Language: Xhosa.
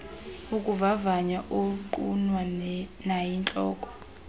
ukuvavanya ongqinwa nayintloko